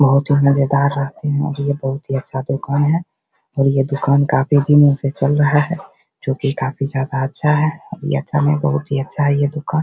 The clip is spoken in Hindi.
बहुत हैं और ये बहुत ही अच्छा दुकान है और ये दुकान काफ़ी दिनों से चल रहा है | जोकि काफ़ी ज्यादा अच्छा है ये अच्छा नहीं बहुत ही अच्छा है ये दुकान |